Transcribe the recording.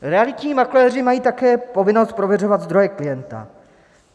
Realitní makléři mají také povinnost prověřovat zdroje klienta.